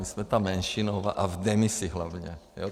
My jsme ta menšinová a v demisi hlavně.